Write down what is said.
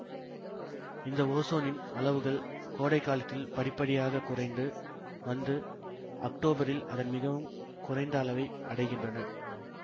இந்த ஓசோனின் அளவுகள் கோடைகாலத்தில் படிப்படியாக குறைந்து வந்து அக்டோபரில் அதன் மிகவும் குறைந்த அளவை அடைகின்றன